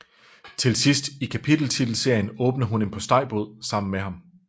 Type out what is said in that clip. Til sidst i kapiteltitelserien åbner hun en postejbod sammen med ham